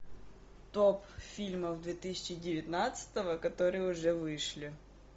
топ фильмов две тысячи девятнадцатого которые уже вышли